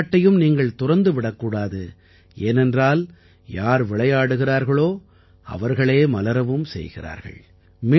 விளையாட்டையும் நீங்கள் துறந்துவிடக் கூடாது ஏனென்றால் யார் விளையாடுகிறார்களோ அவர்களே மலரவும் செய்கிறார்கள்